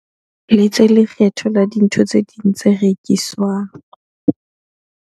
Letse lekgetho la dintho tse ding tse rekiswang.